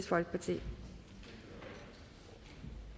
sig til det